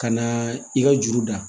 Ka na i ka juru da